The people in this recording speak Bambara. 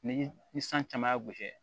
Ni ni san caman y'a gosi